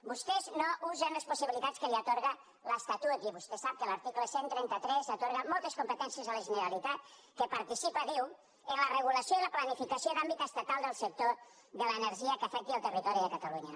vostès no usen les possibilitats que els atorga l’estatut i vostè sap que l’article cent i trenta tres atorga moltes competències a la generalitat que participa diu en la regulació i la planificació d’àmbit estatal del sector de l’energia que afecti el territori de catalunya